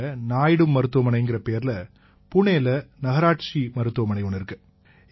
இங்க நாயுடு மருத்துவமனைங்கற பெயர்ல புணேயில நகராட்சி மருத்துவமனை ஒண்ணு இருக்கு